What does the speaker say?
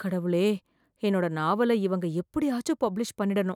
கடவுளே! என்னோட நாவல இவங்க எப்படியாச்சும் பப்ளிஷ் பண்ணிடனும்